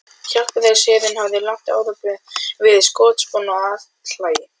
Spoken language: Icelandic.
Hjálpræðisherinn hafði um langt árabil verið skotspónn og athlægi